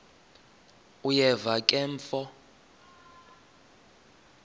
uyeva ke mfo